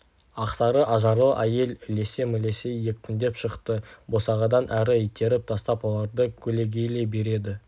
ақсары ажарлы әйел ілесе-мілесе екпіндеп шықты босағадан әрі итеріп тастап оларды көлегейлей береді